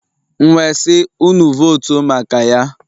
M wee sị, unu votu maka Ya.